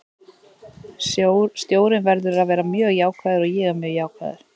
Stjórinn verður að vera mjög jákvæður og ég er mjög jákvæður.